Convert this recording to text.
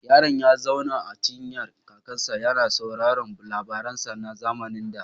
Yaron ya zauna a cinyar kakansa, yana sauraron labaransa na zamanin da.